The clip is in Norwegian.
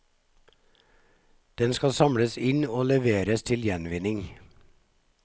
Den skal samles inn og leveres til gjenvinning.